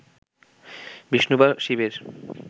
বিষ্ণু বা শিবের